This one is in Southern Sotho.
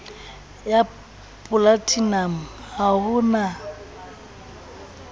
ya polatinamo ha ho na